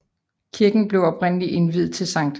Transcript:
Kirken blev oprindelig indviet til Sct